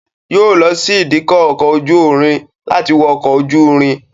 Yóò lọ sí ìdíkọ̀ ọkọ̀ ojú irin láti wọ ọkọ̀ ojú irin.